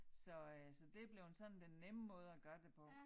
Så øh så det blevet sådan den nemme måde at gøre det på